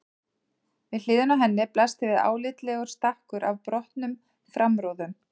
Við hliðina á henni blasti við álitlegur stakkur af brotnum framrúðum.